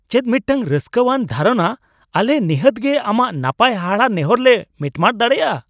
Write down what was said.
ᱪᱮᱫ ᱢᱤᱫᱴᱟᱝ ᱨᱟᱹᱥᱠᱟᱹᱣᱟᱱ ᱫᱷᱟᱨᱚᱱᱟ ! ᱟᱞᱮ ᱱᱤᱦᱟᱹᱛ ᱜᱮ ᱟᱢᱟᱜ ᱱᱟᱯᱟᱭ ᱦᱟᱦᱟᱲᱟ ᱱᱮᱦᱚᱨ ᱞᱮ ᱢᱤᱴᱢᱟᱴ ᱫᱟᱲᱮᱭᱟᱜᱼᱟ ᱾